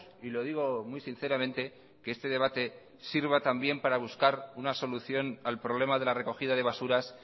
y lo digo muy sinceramente que este debate sirva también para buscar una solución al problema de la recogida de basuras